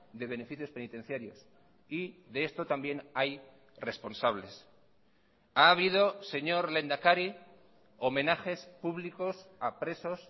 de beneficios penitenciarios y de esto también hay responsables ha habido señor lehendakari homenajes públicos a presos